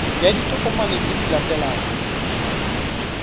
ya ditokomane tse di latelang